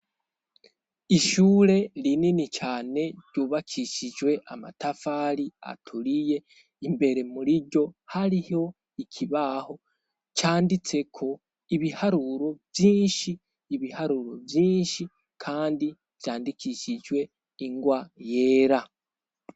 Ishyure rinini cane ryubakishijwe amatafari aturiye imbere muriryo hariho ikibaho canditseko ibiharuro vyinshi ibiharuro vyinshi kandi vyandikishijwe ingwa yera.